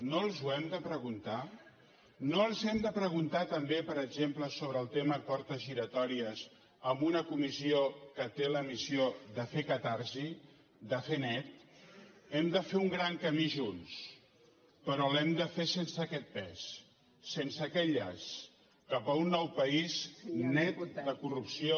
no els ho hem de preguntar no els hem de preguntar també per exemple sobre el tema portes giratòries amb una comissió que té la missió de fer catarsi de fer net hem de fer un gran camí junts però l’hem de fer sense aquest pes sense aquest llast cap a un nou país net de corrupció